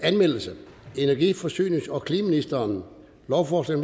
anmeldelse energi forsynings og klimaministeren lovforslag